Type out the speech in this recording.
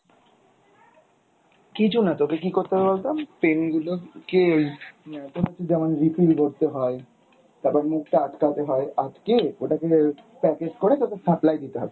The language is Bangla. কিছুনা তোকে কী করতে হবে বলতো pen গুলো কে আহ তোর হচ্ছে যেমন refill করতে হয়, তারপর মুখটা আটকাতে হয়, আটকে ওটাকে packet করে তারপর supply দিতে হবে ।